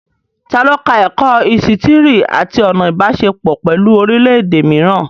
Ta ló ka ẹ̀kọ́ ísítìrì àti ọ̀nà Ìbáṣepọ̀ pẹ̀lú orílẹ̀ èdè mìíràn?